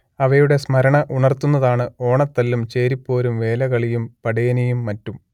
അവയുടെ സ്മരണ ഉണർത്തുന്നതാണ് ഓണത്തല്ലും ചേരിപ്പോരും വേലകളിയും പടേനിയും മറ്റും